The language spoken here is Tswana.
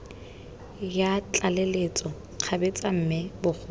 ya tlaleletso kgabetsa mme bogolo